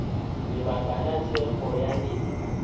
lebaka la thekgo ya lena